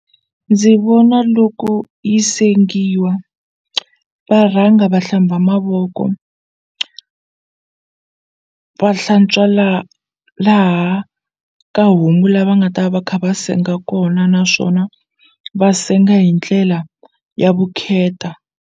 Ndzi vona loko yi sengiwa va rhanga va hlamba mavoko va hlantswa laha ka homu la va nga ta va kha va senga kona naswona va senga hi ndlela ya vukheta.